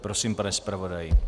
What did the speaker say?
Prosím, pane zpravodaji.